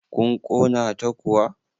kun Kona ta kuwa?